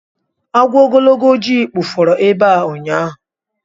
Agwọ ogologo ojii kpufere ebe a ụnyaahụ